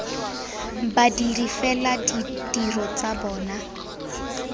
badiri fela ditiro tsa bona